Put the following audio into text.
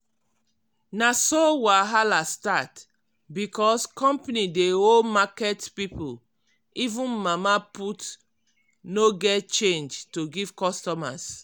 na so wahala start. because company dey owe market people even mama put no get change to give customers.